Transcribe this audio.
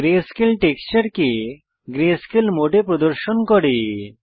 greyscale টেক্সচারকে greyscale মোডে প্রদর্শন করে